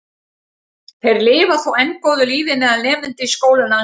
Þeir lifa þó enn góðu lífi meðal nemenda í skólum landsins.